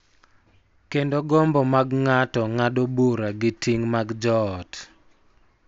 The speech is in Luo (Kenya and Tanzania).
Kendo gombo mag ng�ato ng�ado bura gi ting� mag joot.